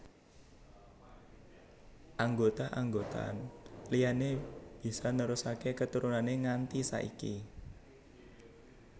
Anggota anggotan liyané bisa nerusaké keturunané nganti saiki